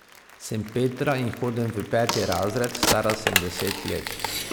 Sem Petra in hodim v peti razred, stara sem deset let.